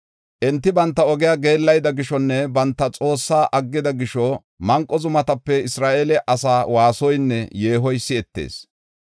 Enti banta ogiya geellayida gishonne banta Xoossaa aggida gisho manqo zumatape Isra7eele asaa waasoynne yeehoy si7etees.